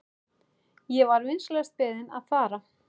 Ég var vinsamlegast beðinn að fara.